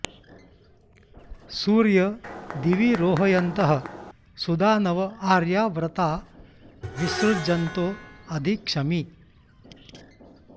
सूर्यं॑ दि॒वि रो॒हय॑न्तः सु॒दान॑व॒ आर्या॑ व्र॒ता वि॑सृ॒जन्तो॒ अधि॒ क्षमि॑